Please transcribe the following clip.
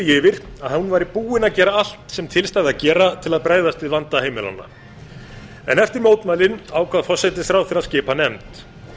yfir að hún væri búin að gera allt sem til stæði að gera til að bregðast við vanda heimilanna en eftir mótmælin ákvað forsætisráðherra að skipa nefnd